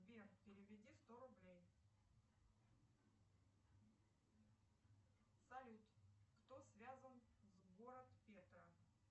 сбер переведи сто рублей салют кто связан с город петра